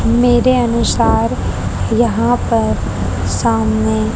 मेरे अनुसार यहाँ पर सामने--